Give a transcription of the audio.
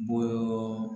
Bɔɔɔ